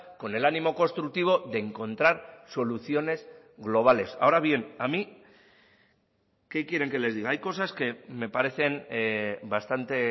con el ánimo constructivo de encontrar soluciones globales ahora bien a mí qué quieren que les diga hay cosas que me parecen bastante